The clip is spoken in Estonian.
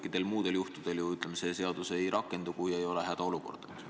Kõikidel muudel juhtudel ju see seadus ei rakendu, peab olema hädaolukord.